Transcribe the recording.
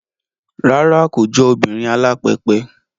Rárá, kò jọ obìnrin alápẹpẹ